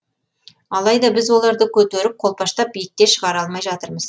алайда біз оларды көтеріп қолпаштап биікке шығара алмай жатырмыз